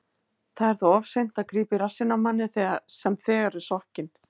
Það er þá of seint að grípa í rassinn á manni sem þegar er sokkinn.